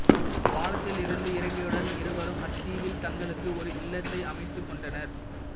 பாலத்தில் இருந்து இறங்கியவுடன் இருவரும் அத்தீவில் தங்களுக்கு ஓர் இல்லத்தை அமைத்துக்கொண்டனர்